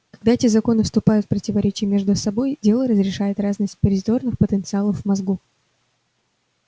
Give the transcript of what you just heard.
когда эти законы вступают в противоречие между собой дело решает разность позитронных потенциалов в мозгу